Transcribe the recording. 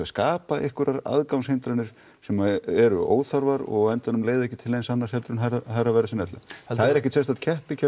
skapa eitthverjar aðgangshindranir sem eru óþarfar og endanum leiða ekki til neins heldur en hærra verðs en ella það er ekkert sérstakt